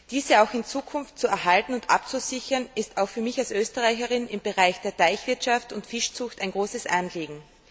Diese auch in Zukunft zu erhalten und abzusichern, ist auch für mich als Österreicherin im Bereich der Teichwirtschaft und Fischzucht ein großes Anliegen.